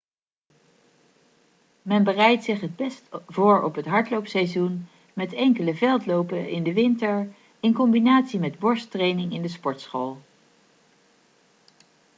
men bereidt zich het best voor op het hardloopseizoen met enkele veldlopen in de winter in combinatie met borsttraining in de sportschool